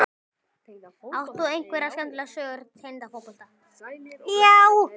Átt þú einhverja skemmtilega sögur tengda fótbolta?